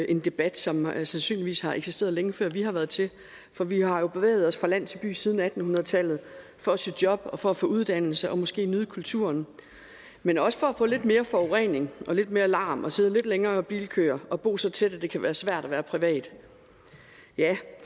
en debat som sandsynligvis har eksisteret længe før vi har været til for vi har jo bevæget os fra land til by siden atten hundrede tallet for at søge job og for at få uddannelse og måske nyde kulturen men også for at få lidt mere forurening og lidt mere larm og sidde lidt længere i bilkøer og bo så tæt at det kan være svært at være privat